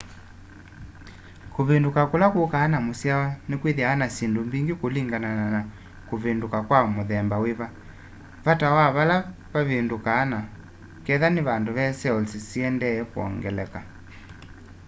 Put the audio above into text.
kuvinduka kula kukaa na musyawa ni kwithaa na syindũ mbingi kulingana na ni kuvinduka kwa mũthemba wiva vata wa pale vavindũkũ na ketha ni vandu ve cells syiendeeye kuongeleka